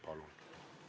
Palun!